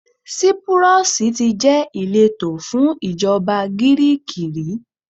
Sípúrọ́sì tí jẹ́ ìletò fún ìjọba Gíríìkì rí.